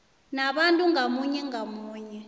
nabantu ngamunye ngamunye